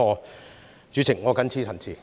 代理主席，我謹此陳辭。